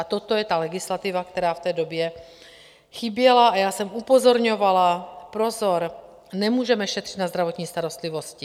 A toto je ta legislativa, která v té době chyběla, a já jsem upozorňovala, pozor, nemůžeme šetřit na zdravotní starostlivosti.